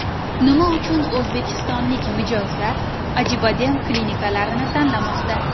Nima uchun o‘zbekistonlik mijozlar Acibadem klinikalarini tanlamoqda?.